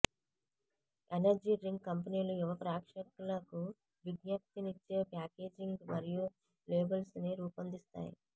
energy drink కంపెనీలు యువ ప్రేక్షకులకు విజ్ఞప్తినిచ్చే ప్యాకేజింగ్ మరియు లేబుల్స్ని రూపొందిస్తాయి